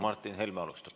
Martin Helme alustab.